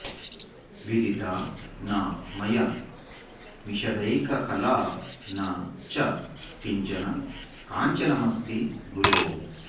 विदिता न मया विशदैककला न च किंचन काञ्चनमस्ति गुरो